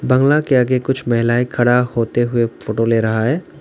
बंगला के आगे कुछ महिलाएं खड़ा होते हुए फोटो ले रहा है।